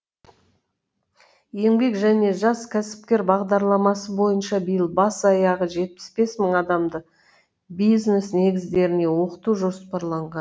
еңбек және жас кәсіпкер бағдарламасы бойынша биыл бас аяғы жетпіс бес мың адамды бизнес негіздеріне оқыту жоспарланған